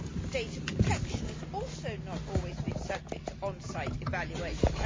Data protection has also not always been subject to on site evaluations.'